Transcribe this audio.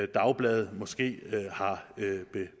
dagblade måske har